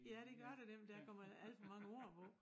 Ja det gør der nemlig der kommet alt for mange ord på